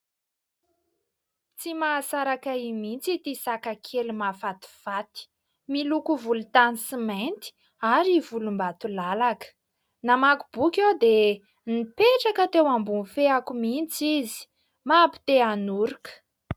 Tsy mahasaraka ahy mihitsy ity saka kely mahafatifaty, miloko volontany sy mainty ary volombatolalaka. Namaky boky aho dia nipetraka teo ambony feako mihitsy izy, mampite hanoroka.